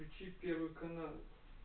вкоючи первый канал